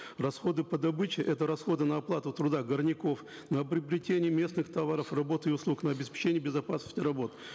расходы по добыче это расходы на оплату труда горняков на приобретение местных товаров работ и услуг на обеспечение безопасности работ